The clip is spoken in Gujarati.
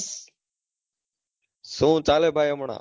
શું ચાલે ભાઈ હમણાં